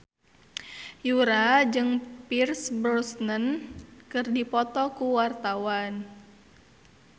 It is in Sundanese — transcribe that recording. Yura jeung Pierce Brosnan keur dipoto ku wartawan